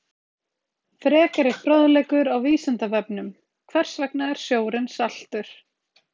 Frekari fróðleikur á Vísindavefnum: Hvers vegna er sjórinn saltur?